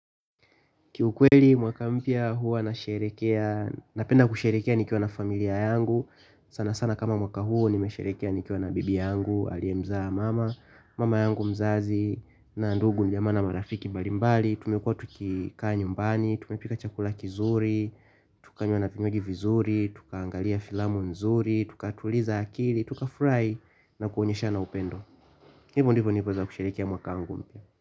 Kiukweli mwaka mpya huwa na sherekea, napenda kusherehekea nikiwa na familia yangu sana sana kama mwaka huwa nimesherekea nikiwa na bibi yangu, aliye mzaa mama mama yangu mzazi na ndugu ni ya maana marafiki mbali mbali. Tumekuwa tukikaa nyumbani, tumepika chakula kizuri, tukanywa na pinyogi vizuri, tuka angalia filamu nzuri tuka tuliza akili, tuka furahi na kuonyeshana upendo hivo ndivyo niliweza kusherehekea mwaka mpya.